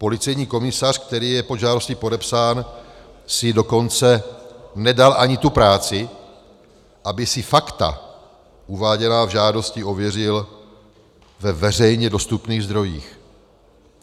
Policejní komisař, který je pod žádostí podepsán, si dokonce nedal ani tu práci, aby si fakta uváděná v žádosti ověřil ve veřejně dostupných zdrojích.